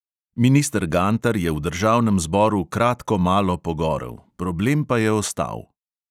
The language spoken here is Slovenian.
Minister gantar je v državnem zboru kratkomalo pogorel, problem pa je ostal.